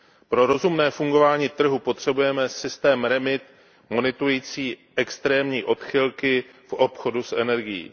Pro rozumné fungování trhu potřebujeme systém REMIT monitorující extrémní odchylky v obchodu s energií.